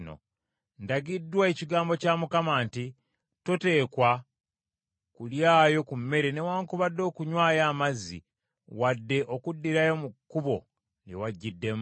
Ndagiddwa ekigambo kya Mukama nti, ‘Toteekwa kulyayo ku mmere newaakubadde okunywayo amazzi, wadde okuddirayo mu kkubo lye wajjiddemu.’ ”